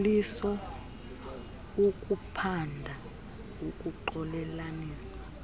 liliso ukuphanda ukuxolelanisa